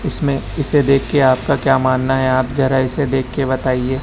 इसमें इसे देखके आपका क्या मानना है आप जरा इसे देखके बताइए--